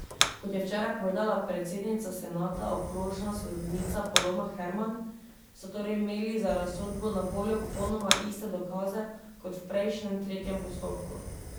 Kot je včeraj povedala predsednica senata, okrožna sodnica Polona Herman, so torej imeli za razsodbo na voljo popolnoma iste dokaze kot v prejšnjem, tretjem postopku.